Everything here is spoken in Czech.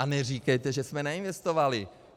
A neříkejte, že jsme neinvestovali.